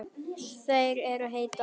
Þær eru heitar.